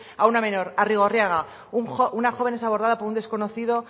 a una menor arrigorriaga una joven es abordada por un desconocido